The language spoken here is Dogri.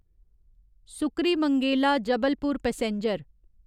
सुक्रीमंगेला जबलपुर पैसेंजर